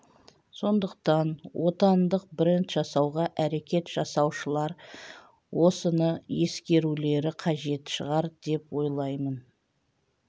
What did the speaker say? сондықтан отандық бренд жасауға әрекет жасаушылар осыны ескерулері қажет шығар деп ойлаймын